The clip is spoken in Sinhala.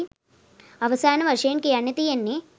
අවසාන වශයෙන් කියන්න තියෙන්නෙ